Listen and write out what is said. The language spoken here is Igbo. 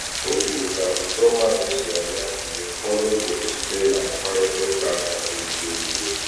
O kwuru ka uto mmadụ si abịa mgbe ụfọdụ bụ site na mkparitauka kasị sie ike.